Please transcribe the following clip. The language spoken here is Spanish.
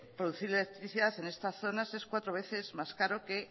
producir electricidad en estas zonas es cuatro veces más caro que